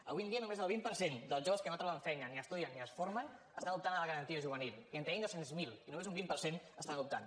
avui en dia només el vint per cent dels joves que no troben feina ni estudien ni es formen estan optant a la garantia juvenil i en tenim dos cents miler i només un vint per cent hi estan optant